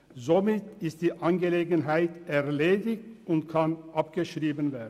Somit ist die Angelegenheit erledigt und kann abgeschrieben werden.